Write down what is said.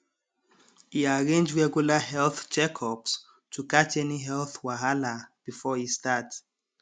e arrange regular health checkups to catch any health wahala before e start